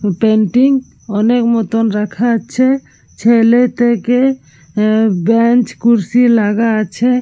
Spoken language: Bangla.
পেইন্টিং অনেক মতন রাখা আছে। ছেলে থেকে বেঞ্চ কুরসী লাগা আছে ।